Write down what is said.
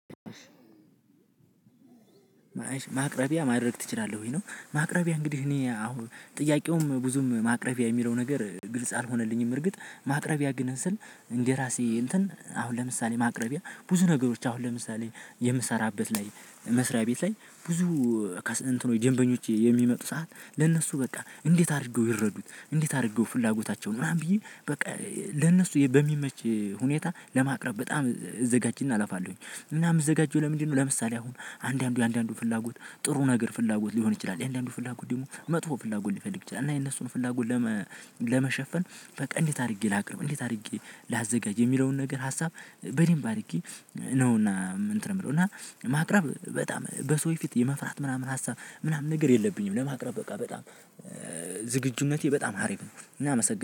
ማቅረቢያ ማድረግ ትችላለህ? ወይ ነው ማቅረቢያ እንግዲህ እኔ አሁን ጥያቄውም ብዙም ማቅረቢያ የሚለው ነገር ግልጽ አልሆነልኝም። እርግጥ ማቅረቢያ ግን ስል እንደራሴ እንትን አሁን ለምሳሌ ማቅረቢያ ብዙ ነገሮች አሁን ለምሳሌ የምሰራበት ላይ መስሪያ ቤት ላይ ብዙ ከስእንትኑ ደንበኞች የሚመጡ ሰዓት ለነሱ በቃ እንዴት አድርገው ይረዱት እንዴት አድርገው ፍላጎታቸውን ብላም ብዬ በቃ ለነሱ በሚመች ሁኔታ ለማቅረብ በጣም እዘጋጅና አለፋለሁኝ። እና የምዘጋጀው ለምንድነው ለምሳሌ አሁን አንዳንዱ የአንዳንዱ ፍላጎት ጥሩ ነገር ፍላጎት ሊሆን ይችላል የአንዳንዱ ፍላጎት ደግሞ መጥፎ ፍላጎት ሊፈልግ ይችላ እና የነሱን ፍላጎት። ለመሸፈን በቃ እንዴት አድርጌ ላቅርብ እንዴት አድርጌ ላዘጋጅ የሚለውን ነገር ሀሳብ በዴምብ አድርጌ ነው። እና እንትን የምለው እና ማቅረብ በጣም በሰው ፊት የመፍራት ምናምን ሀሳብ ምናምን ነገር የለብኝም። ለማቅረብ በቃ በጣም ዝግጁነቴ በጣም ሀሪፍ ነው። እና አመሰግናለሁ